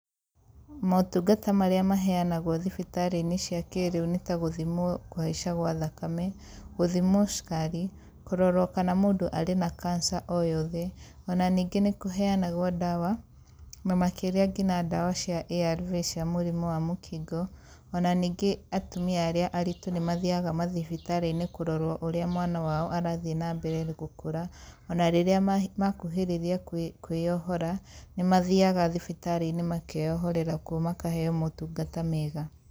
Motungata marῖa maheanagwo thibitarῖinῖ cia kῖrῖu nῖ ta gῦthimwo kῦhaica gwa thakame, gῦthimwo cukari, kῦrorwo kana mῦndῦ arῖ na kansa o yothe, ona ningῖ nῖkῦheanagwo dawa, na makῖria nginya dawa cia ARV cia mῦrῖmῦ wa mῦkingo, ona ningῖ atumia arῖa aritῦ nῖmathiaga mathibitarῖinῖ kῦrorwo ῦrῖa mwana wao arathie na mbere na gῦkῦra, ona rῖrῖa makuhῖrῖrῖa kῦῖ kῦῖyohora, nῖmathiaga mathibitarῖinῖ makeyohorera kuo makaheyo motῦngata mega.